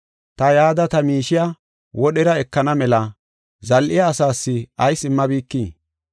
ta yada ta miishiya wodhera ekana mela zal7iya asaas ayis immabikii?’